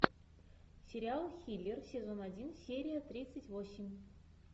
сериал хиллер сезон один серия тридцать восемь